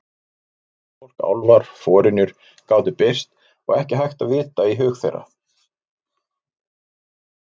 Huldufólk, álfar, forynjur gátu birst og ekki hægt að vita í hug þeirra.